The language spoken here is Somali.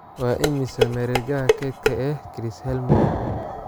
waa immisa mareegaha keydka ee chris Helmsworth